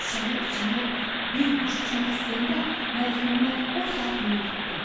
Şüşənin içindən bir quş uçmaq istəyəndə Məlikməmməd o saat onu tutdu.